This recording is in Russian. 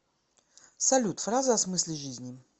салют фразы о смысле жизни